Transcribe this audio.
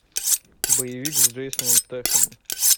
боевик с джейсоном стэтхэмом